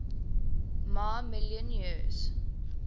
ma million years